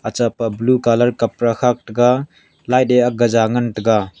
acha paplu colour kapra khak tega light eh gaja ngan tega.